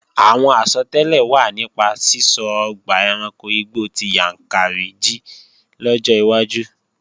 Àwọn àsọtẹ́lẹ̀ wà nípa sísọ ọgbà ẹranko igbó ti Yàǹkàrí jí lọ́jọ́ iwájú